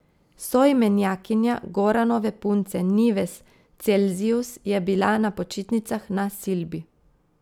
Soimenjakinja Goranove punce Nives Celzijus je bila na počitnicah na Silbi.